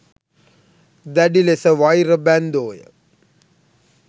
දැඩිලෙස වෛර බැන්දෝය.